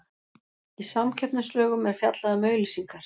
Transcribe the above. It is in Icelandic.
Í samkeppnislögum er fjallað um auglýsingar.